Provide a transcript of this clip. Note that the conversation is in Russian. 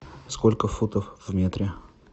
сколько футов в метре